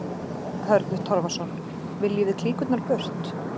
Hörður Torfason: Viljum við klíkurnar burt?